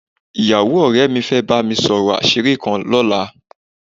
Ìyàwó ọ̀rẹ́ mi fẹ́ bá mi sọ̀rọ̀ àṣírí kan lọ́la